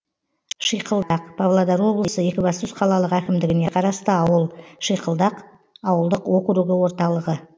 шиқылдақ павлодар облысы екібастұз қалалық әкімдігіне қарасты ауыл шиқылдақ ауылдық округі орталығы